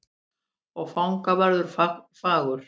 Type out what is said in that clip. Og fangavörður fagur.